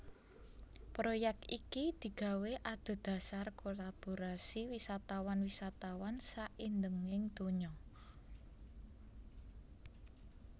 Proyek iki digawé adhedhasar kolaborasi wisatawan wisatawan saindhenging donya